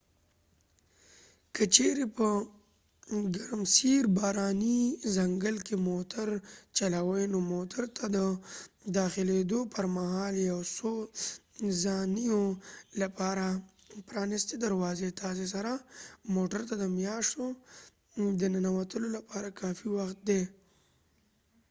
که چیرې په ګرمسیر باراني ځنګل کې موتر چلوې نو موټر ته د داخلیدو پر مهال یو څو څانیو لپاره پرانستې دروازې تاسې سره موټر ته د میاشو د ننوتلو لپاره کافي وخت دي